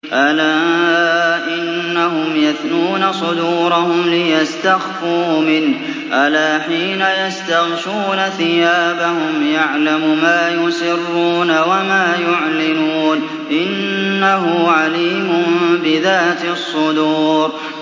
أَلَا إِنَّهُمْ يَثْنُونَ صُدُورَهُمْ لِيَسْتَخْفُوا مِنْهُ ۚ أَلَا حِينَ يَسْتَغْشُونَ ثِيَابَهُمْ يَعْلَمُ مَا يُسِرُّونَ وَمَا يُعْلِنُونَ ۚ إِنَّهُ عَلِيمٌ بِذَاتِ الصُّدُورِ